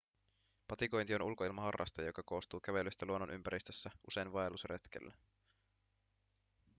patikointi on ulkoilmaharraste joka koostuu kävelystä luonnonympäristössä usein vaellusreiteillä